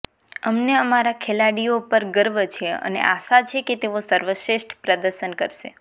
અમને અમારા ખેલાડીઓ પણ ગર્વ છે અને આશા છે કે તેઓ સર્વશ્રેષ્ઠ પ્રદર્શન કરશે